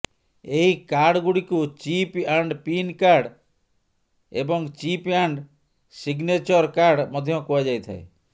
ଏହି କାର୍ଡଗୁଡିକୁ chip and pin card ଏବଂ ଚିପ ଆଣ୍ଡ ସିଗନେଚର କାର୍ଡ ମଧ୍ୟ କୁହାଯାଇଥାଏ